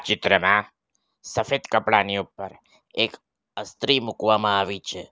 ચિત્રમાં સફેદ કપડાની ઉપર એક અસ્ત્રી મૂકવામાં આવી છે.